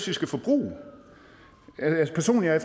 vi skal forbruge personligt er